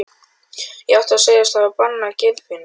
Ég átti að segjast hafa banað Geirfinni.